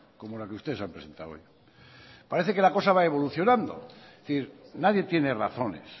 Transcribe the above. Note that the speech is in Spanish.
como la que ustedes han presentado hoy parece que la cosa va evolucionando es decir nadie tiene razones